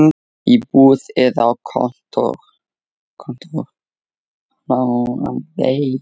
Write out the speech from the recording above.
Í búð eða á kontór.